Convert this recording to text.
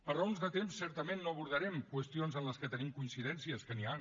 per raons de temps certament no abordarem qüestions en què tenim coincidències que n’hi ha